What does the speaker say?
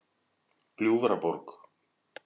Gljúfraborg